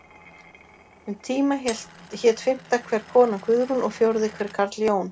Um tíma hét fimmta hver kona Guðrún og fjórði hver karl Jón.